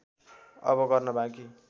अब गर्न बाँकी